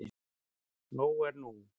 Nóg er nú.